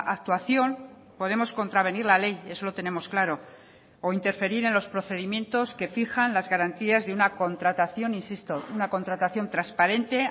actuación podemos contravenir la ley eso lo tenemos claro o interferir en los procedimientos que fijan las garantías de una contratación insisto una contratación transparente